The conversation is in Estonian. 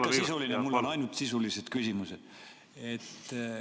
Ikka sisuline, mul on ainult sisulised küsimused.